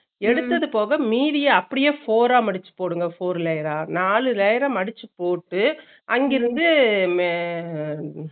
எடுத்தது போக மீதிய அப்பிடியே four ரா மடுச்சு போடுங்க four layer ர, நாளு layer ர மடுச்சு போட்டு அங்கருந்து மே உம்